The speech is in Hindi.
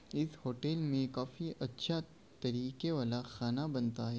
इस होटल मे काफी अच्छा तरीके वाला खाना बनता है।